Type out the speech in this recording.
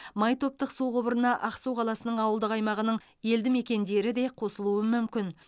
май топтық су құбырына ақсу қаласының ауылдық аймағының елді мекендері де қосылуы мүмкін